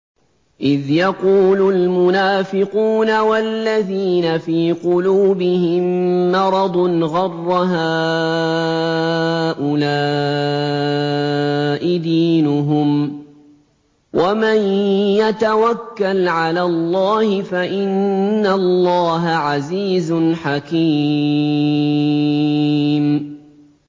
إِذْ يَقُولُ الْمُنَافِقُونَ وَالَّذِينَ فِي قُلُوبِهِم مَّرَضٌ غَرَّ هَٰؤُلَاءِ دِينُهُمْ ۗ وَمَن يَتَوَكَّلْ عَلَى اللَّهِ فَإِنَّ اللَّهَ عَزِيزٌ حَكِيمٌ